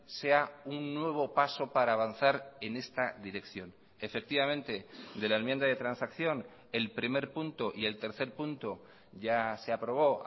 sea un nuevo paso para avanzar en esta dirección efectivamente de la enmienda de transacción el primer punto y el tercer punto ya se aprobó